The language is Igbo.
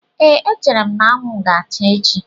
Ee, echere m na anwụ ga-acha echi.